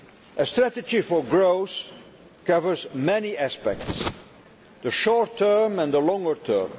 A strategy for growth covers many aspects the short term and the longer term